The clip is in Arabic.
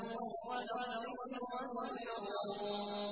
وَلَا الظِّلُّ وَلَا الْحَرُورُ